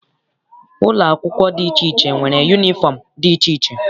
Ụlọ akwụkwọ dị iche iche nwere yunifọm dị iche iche.